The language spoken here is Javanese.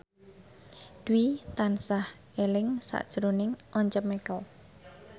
Dwi tansah eling sakjroning Once Mekel